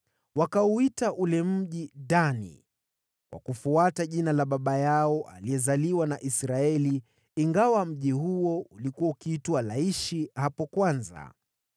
Wakauita ule mji Dani kwa kufuata jina la baba yao aliyezaliwa na Israeli, ingawa mji huo ulikuwa ukiitwa Laishi hapo kwanza.